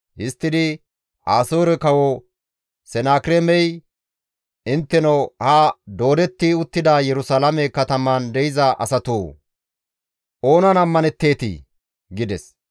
Histtidi, «Asoore Kawo Senakireemey, ‹Intteno ha doodetti uttida Yerusalaame kataman de7iza asatoo! Oonan ammanetteetii?› gides.